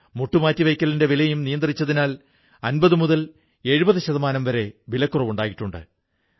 മുട്ടു മാറ്റിവയ്ക്കലിന്റെ വിലയും നിയന്ത്രിച്ചതിനാൽ 50മുതൽ 70 ശതമാനം വരെ കുറവുണ്ടായിട്ടുണ്ട്